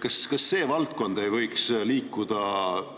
Kas see valdkond ei võiks liikuda